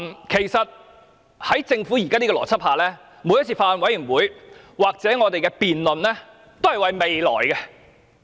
其實，在政府現時的邏輯下，每次法案委員會或立法會的辯論，都是為了未來。